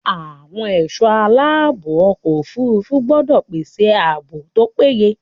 Àwọn ẹ̀sọ́ aláàbò ọkọ̀ òfúrúfú gbọ́dọ̀ pèsè ààbò tó péye.